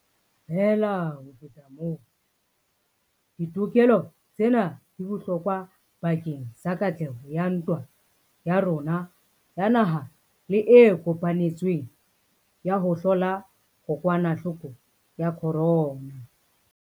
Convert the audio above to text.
Feela ho feta moo, ditokelo tsena di bohlokwa bakeng sa katleho ya ntwa ya rona ya naha le e kopanetsweng ya ho hlola kokwanahloko ya corona.